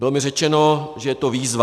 Bylo mi řečeno, že je to výzva.